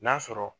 N'a sɔrɔ